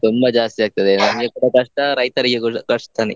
ತುಂಬಾ ಜಾಸ್ತಿ ಆಗ್ತದೆ ನಮ್ಗೆ ಕೂಡ ಕಷ್ಟ, ರೈತರಿಗೆ ಕೂಡ ಕಷ್ಟನೇ.